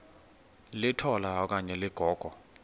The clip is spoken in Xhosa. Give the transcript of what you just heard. litola okanye ligogo